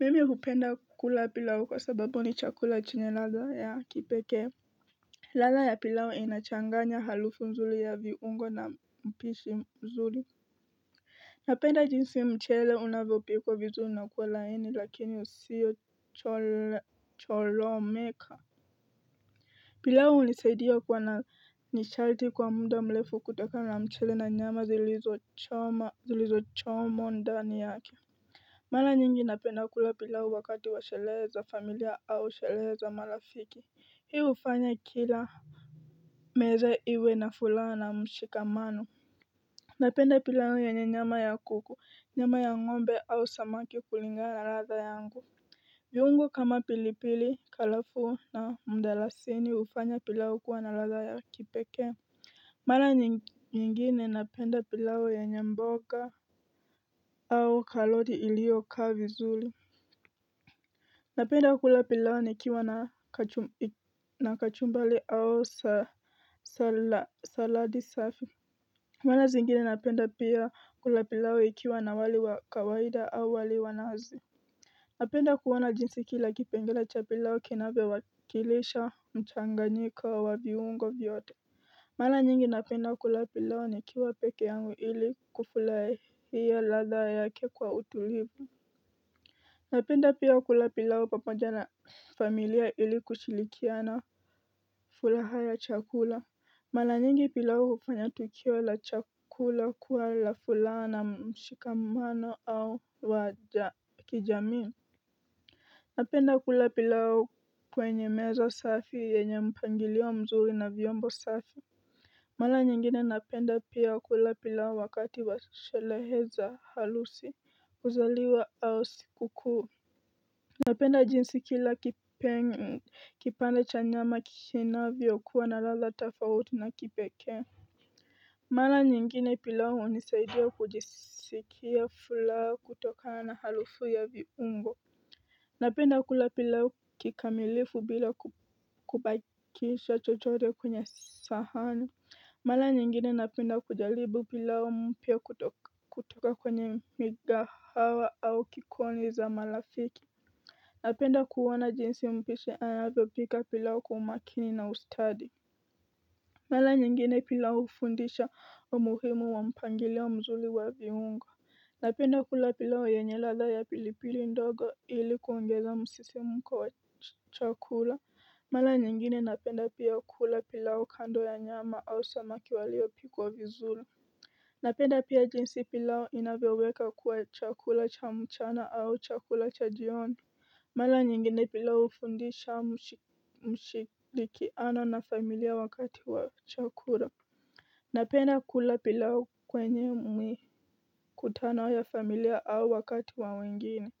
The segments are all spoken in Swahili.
Mimi hupenda kukula pilau kwa sababu ni chakula chenye ladha ya kipeke Lala ya pilau inachanganya halufu mzuli ya viungo na mpishi mzuli Napenda jinsi mchele unavyopikwa vizuli nakuwa laini lakini usiyo cholomeka pilau unisaidia kuwa na nishalti kwa muda mlefu kutokana na mchele na nyama zilizo chomwa ndani yake Mala nyingi napenda kula pilau wakati wa shelehe za familia au shelehe za marafiki Hii ufanya kila meza iwe na fulaha na mshikamano Napenda pilau yenye nyama ya kuku, nyama ya ngombe au samaki kulingana na radha yangu viungo kama pilipili, kalafu na mdalasini hufanya pilau kuwa na ladha ya kipeke Mala nyingine napenda pilau yenye mboga au kaloti ilio kaa vizuli Napenda kula pilau nikiwa na kachumbali au saladi safi Mara zingine napenda pia kula pilau ikiwa na wali wa kawaida au wali wa nazi Napenda kuona jinsi kila kipengele cha pilao kinavyo wakilisha mchanganyiko wa viungo vyote mara nyingi napenda kula pilau nikiwa peke yangu ili kufulahia latha yake kwa utulivu Napenda pia kula pilau pamoja na familia ili kushilikiana fulaha ya chakula Mala nyingi pilau kufanya tukio la chakula kuwa la fulaha na mshikamano au wa kijamii Napenda kula pilau kwenye meza safi yenye mpangilio mzuri na vyombo safi Mala nyingine napenda pia kula pilau wakati wa shalehe za halusi kuzaliwa au siku kuu Napenda jinsi kila kipande cha nyama kinavyo kuwa na ladha tafauti na kipeke Mala nyingine pilau nisaidia kujisikia fulaha kutoka na halufu ya viungo Napenda kula pilau kikamilifu bila kukubakisha chochote kwenye sahani Mala nyingine napenda kujalibu pilau mpya kutoka kwenye migahawa au kikoni za malafiki Napenda kuona jinsi mpishi anavyo pika pilau kwa umakini na ustadi Mala nyingine pilau ufundisha umuhimu wa mpangilio mzuli wa viungo Napenda kula pilau yenye ladha ya pilipili ndogo ili kuongeza msisimuko wa chakula Mala nyingine napenda pia kula pilau kando ya nyama au samaki waliyo pikwa vizuli Napenda pia jinsi pilau inavyo weka kuwa chakula cha mchana au chakula cha jioni Mala nyingine pilau ufundisha mshilikiano na familia wakati wa chakura Napenda kula pilau kwenye mikutano ya familia au wakati wa wengine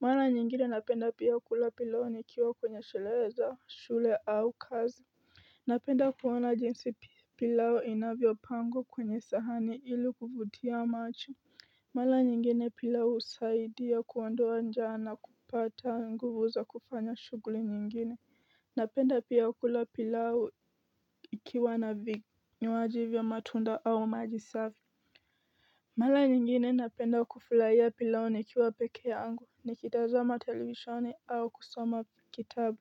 Mala nyingine napenda pia kula pilau nikiwa kwenye shule au kazi Napenda kuona jinsi pilau inavyo pangwa kwenye sahani ili kuvutia macho Mala nyingine pilau usaidia kuondoa njaa na kupata nguvu za kufanya shuguli nyingine Napenda pia kula pilau ikiwa na vinywaji vya matunda au maji safi Mala nyingine napenda kufulaia pilau nikiwa peke yangu ni kitazama televishoni au kusoma kitabu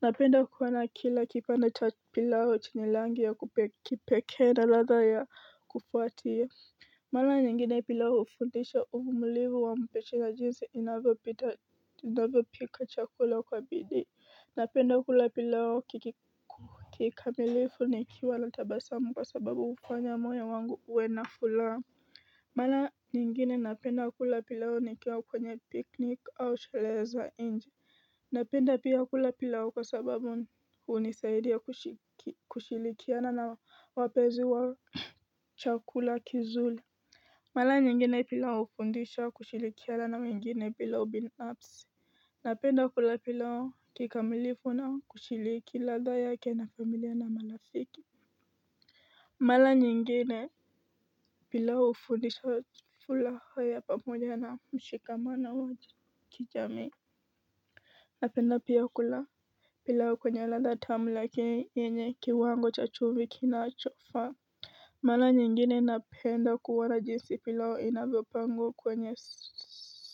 Napenda kuona kila kipande cha pilau chenye langi ya kipeke na ladha ya kufuatia Mala nyingine pila wa ufundisha uvumulivu wa mpishi na jinsi inavyo pika chakula kwa bidii, napenda kula pilau kikamilifu nikiwa na tabasamu kwa sababu ufanya moyo wangu uwe na fulaha. Mala nyingine napenda kula pilau nikiwa kwenye piknik au shalehe za nje, napenda pia kula pilau kwa sababu hunisaidia kushilikiana na wapenzi wa chakula kizuli. Mala nyingine pilau ufundisha kushilikiana na wengine pila ubinafsi Napenda kula pilau kikamilifu na kushiliki ladha yake na familia na malafiki Mala nyingine pilau ufundisha fulaha ya pamoja na mshikamano wa kijamii Napenda pia kula pilau kwenye lada tamu lakini yeenye kiwango cha chumvi kinachofaa Mala nyingine napenda kuwona jinsi pilau inavyo pangwa kwenye si.